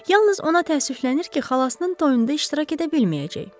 Yalnız ona təəssüflənir ki, xalasının toyunda iştirak edə bilməyəcək.